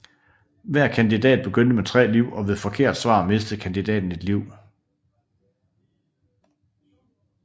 Hver kandidat begyndte med tre liv og ved forkert svar mistede kandidaten et liv